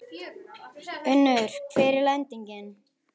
Unnur, hver er lendingin?